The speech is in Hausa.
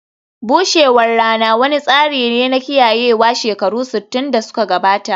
bushewar rana wani tsari ne na kiyayewa shekaru sittin da suka gabata